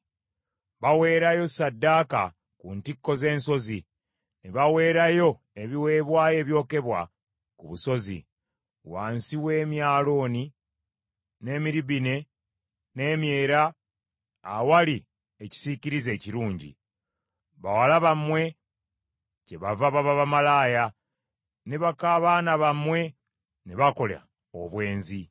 Baweerayo ssaddaaka ku ntikko z’ensozi, ne baweerayo ebiweebwayo ebyokebwa ku busozi, wansi w’emyalooni, n’emiribine n’emyera awali ekisiikirize ekirungi. Bawala bammwe kyebava baba bamalaaya, ne baka baana bammwe ne bakola obwenzi.